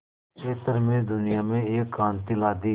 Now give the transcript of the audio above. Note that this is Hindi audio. क्षेत्र में दुनिया में एक क्रांति ला दी